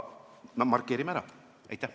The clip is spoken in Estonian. Kuid markeerime selle ära.